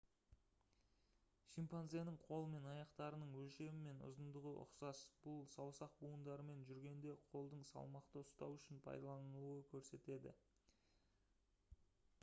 шимпанзенің қол мен аяқтарының өлшемі мен ұзындығы ұқсас бұл саусақ буындарымен жүргенде қолдың салмақты ұстау үшін пайдаланылуын көрсетеді